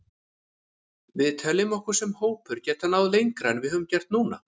Við teljum okkur sem hópur geta náð lengra en við höfum gert núna.